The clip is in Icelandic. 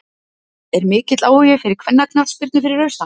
Er mikill áhugi fyrir kvennaknattspyrnu fyrir austan?